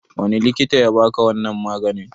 Wani likita yabaka wannan maganin?